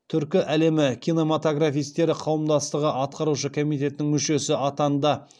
түркі әлемі кинематографистері қауымдастығы атқарушы комитетінің мүшесі атанды